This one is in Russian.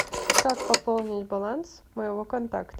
как пополнить баланс моего контакта